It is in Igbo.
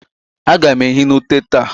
A gam ehi n'ute taa.